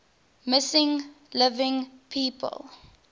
missing living people